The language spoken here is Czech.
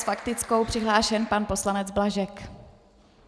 S faktickou přihlášen pan poslanec Blažek.